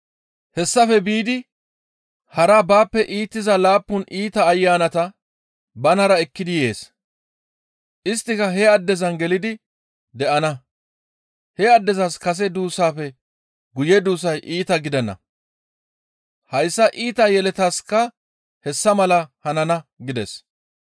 Hessafe biidi hara baappe iitiza laappun iita ayanata banara ekkidi yees. Isttika he addezan gelidi de7ana. He addezas kase duussaafe guye duussay iita gidana. Hayssa iita yeletaska hessa mala hanana» gides.